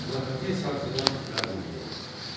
Xilafəti sarsıdan məğlubiyyət.